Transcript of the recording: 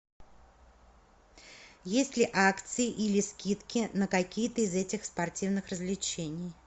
есть ли акции или скидки на какие то из этих спортивных развлечений